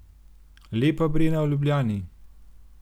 Lepa Brena v Ljubljani?